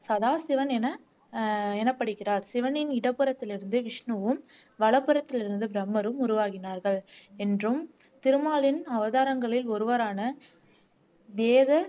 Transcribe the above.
சதாசிவன் என ஆஹ் எனப்படுகிறார் சிவனின் இடப்புறத்திலிருந்து விஷ்ணுவும் வலப்புறத்திலிருந்து பிரம்மரும் உருவாகினார்கள் என்றும் திருமாலின் அவதாரங்களில் ஒருவரான வேத